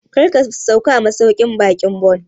Kar ka sauka a masauƙin baƙin Bon!